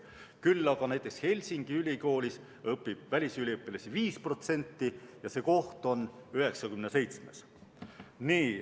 Küll aga näiteks Helsingi ülikoolis õpib välisüliõpilasi 5% ja see koht on 97.